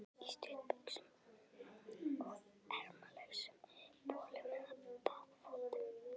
Í stuttbuxum og ermalausum bolum eða baðfötum.